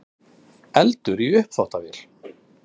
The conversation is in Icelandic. Eldur í uppþvottavél